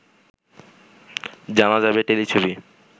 জানা যাবে টেলিছবি